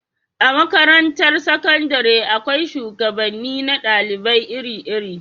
A makarantar sakandare akwai shugabanni na dalibai iri iri